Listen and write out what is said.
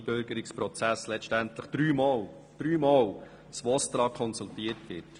Dies, weil im Einbürgerungsprozess letztendlich dreimal das VOSTRA konsultiert wird.